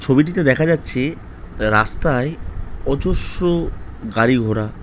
ছবিটিতে দেখা যাচ্ছে রাস্তায় অজস্র গাড়ি ঘোড়া।